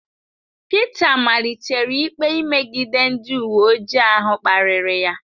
Pita malitere ikpe imegide ndị uwe ojii ahụ kparịrị ya.